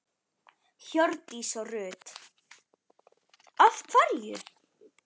Hjördís Rut: Af hverju?